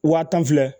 Wa tan filɛ